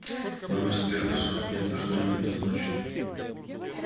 номер из первой сотни это что-нибудь да значит